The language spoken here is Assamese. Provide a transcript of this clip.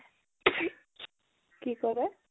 কি কʼলে?